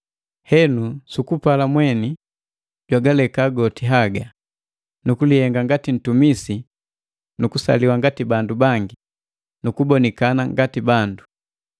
Henu sukupala mweni, jwagaleka goti haga, nukulihenga ngati ntumisi, nukusaliwa ngati bandu bangi, nukubonikana ngati bandu.